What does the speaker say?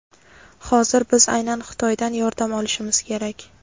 Hozir biz aynan Xitoydan yordam olishimiz kerak.